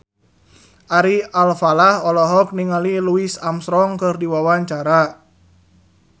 Ari Alfalah olohok ningali Louis Armstrong keur diwawancara